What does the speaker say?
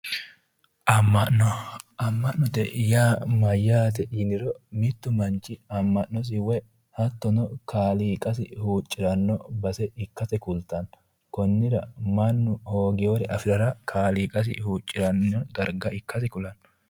Ama'no, ama'note ya mayaate yiniro mitu manchi ama'nosi woy hatono kaaliiqassi huuciranno base ikasi kulitano, konira mannu hoogewore afirara kaaliiqassi huuciranino darga ikasi kulanno